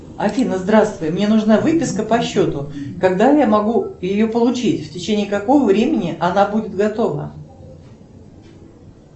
афина здравствуй мне нужна выписка по счету когда я могу ее получить в течение какого времени она будет готова